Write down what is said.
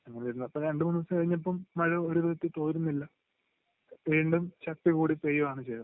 അങ്ങിനെ ഇരുന്നപ്പോ രണ്ട്‌ മൂന്ന് ദിവസം കഴിഞ്ഞപ്പോ മഴ ഒരു നിലക്കും തോരുന്നില്ല വീണ്ടും ശക്തി കൂടി പെയ്യുവാണ് ചെയ്തത്